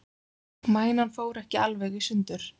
Mænan fór ekki alveg í sundur